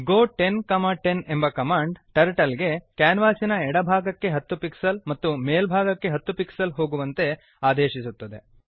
ಗೋ 1010 ಎಂಬ command turtle ಗೆ ಕ್ಯಾನ್ವಾಸಿನ ಎಡಭಾಗಕ್ಕೆ 10 ಪಿಕ್ಸೆಲ್ಸ್ ಮತ್ತು ಮೇಲ್ಭಾಗಕ್ಕೆ 10 ಪಿಕ್ಸೆಲ್ಸ್ ಹೋಗುವಂತೆ ಆದೇಶಿಸುತ್ತದೆ